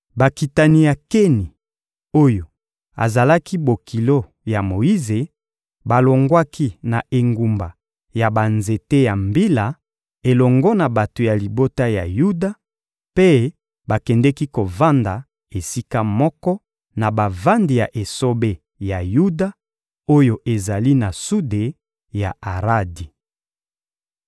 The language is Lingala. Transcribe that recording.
Bakitani ya Keni oyo azalaki bokilo ya Moyize balongwaki na engumba ya banzete ya Mbila elongo na bato ya libota ya Yuda, mpe bakendeki kovanda esika moko na bavandi ya esobe ya Yuda, oyo ezali na sude ya Aradi.